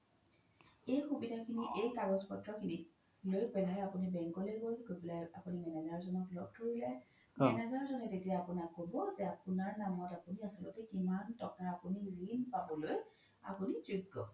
এই সুবিধা খিনি এই কাগজ পত্ৰ খিনিত লৈ পেলাই আপোনি bank লৈ গ্'ল গৈ পেলাই আপোনি manager জ্ন্ক লগ ধৰিলে manager জ্নে তেতিয়া আপোনাক ক্'ব যে আপোনাৰ নাম আপোনি আচ্ল্তে কিমান তকা আপোনি ৰিন পাবলৈ আপোনি যগ্য